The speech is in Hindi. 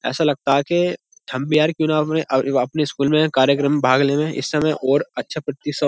ऐसा लगता है कि हम भी यार क्यूँ ना अपने अपने स्कूल में कार्यक्रम भाग लेवे। इस समय और अच्छा प्रतिश --